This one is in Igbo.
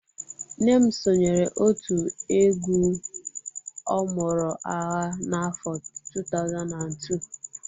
Nne m sonyeere otu egwu ọmụrụ-agha n'afọ 2002